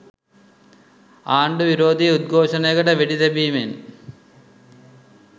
ආණ්ඩු විරෝධී උද්ඝෝෂණයකට වෙඩි තැබීමෙන්